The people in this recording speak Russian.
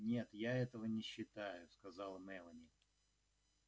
нет я этого не считаю сказала мелани